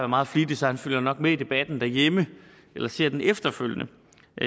meget flittig så han følger nok med i debatten derhjemme eller ser den efterfølgende